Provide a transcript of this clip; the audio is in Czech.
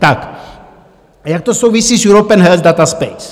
A jak to souvisí s European Health Data Space.